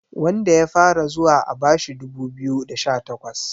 wanda ya fara zuwa a bashi dubu biyu da sha takwas